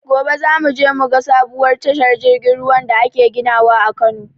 Gobe za mu je mu ga sabuwar tashar jirgin ruwan da ake ginawa a Kano